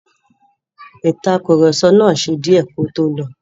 Ìtàkurọ̀sọ náà ṣe díẹ́ kí ó tó lọ.